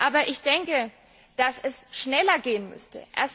Aber ich denke, dass es schneller gehen müsste.